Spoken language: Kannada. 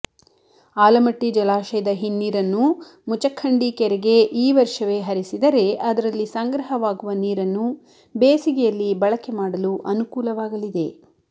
ಆಲಮಟ್ಟಿ ಜಲಾಶಯದ ಹಿನ್ನೀರನ್ನು ಮುಚಖಂಡಿ ಕೆರೆಗೆ ಈ ವರ್ಷವೇ ಹರಿಸಿದರೆ ಅದರಲ್ಲಿ ಸಂಗ್ರಹವಾಗುವ ನೀರನ್ನು ಬೇಸಿಗೆಯಲ್ಲಿ ಬಳಕೆ ಮಾಡಲು ಅನುಕೂಲವಾಗಲಿದೆ